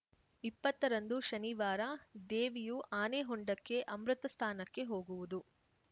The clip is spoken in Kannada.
ಇಪ್ಪತ್ತ ರಂದು ಶನಿವಾರ ದೇವಿಯು ಆನೆಹೊಂಡಕ್ಕೆ ಅಮೃತ ಸ್ಥಾನಕ್ಕೆ ಹೋಗುವುದು